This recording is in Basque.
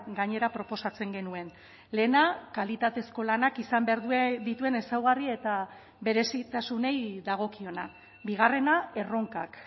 gainera proposatzen genuen lehena kalitatezko lanak izan behar dituen ezaugarri eta berezitasunei dagokiona bigarrena erronkak